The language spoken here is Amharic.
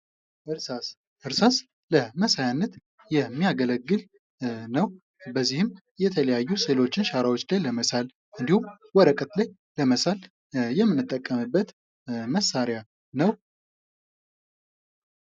እርሳስ ለመሳያነት የሚያገለግል ነው በዚህም የተለያዩ ስዕሎችን ሸራዎች ላይ ለመሳል ወረቀት ላይ ለመሰል የምንጠቀምበት መሳሪያ ነው።